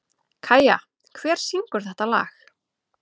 Kæja, hver syngur þetta lag?